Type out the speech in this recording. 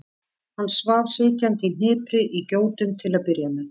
Hann svaf sitjandi í hnipri í gjótum til að byrja með.